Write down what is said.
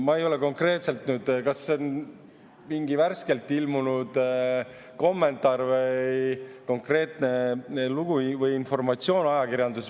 Ma ei tea konkreetselt, kas see on mingi värskelt ilmunud kommentaar, konkreetne lugu või informatsioon ajakirjanduses.